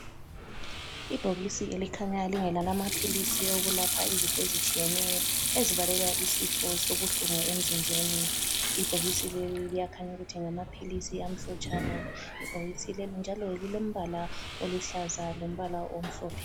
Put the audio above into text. Ibhokisi elikhanya lingelamaphilisi owokulapha izifo ezitshiyeneyo ezibalela isifo sobuhlungu emzinjeni. Ibhokisi leli liyakhanya ukuthi ngamaphilisi amhlotshana. Ibhokisi leli njalo lilombala oluhlaza lombala omhlophe.